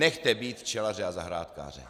Nechte být včelaře a zahrádkáře.